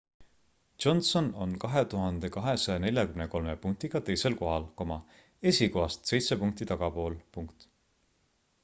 johnson on 2243 punktiga teisel kohal esikohast seitse punkti tagapool